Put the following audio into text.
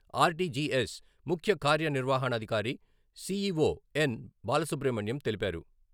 RTGS ముఖ్య కార్యనిర్వహణాధికారి CEO N. Balasubrahmanyam తెలిపారు.